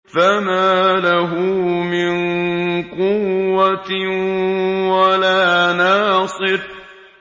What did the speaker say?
فَمَا لَهُ مِن قُوَّةٍ وَلَا نَاصِرٍ